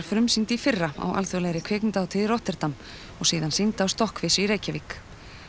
frumsýnd í fyrra á alþjóðlegri kvikmyndahátíð í Rotterdam og síðan sýnd á í Reykjavík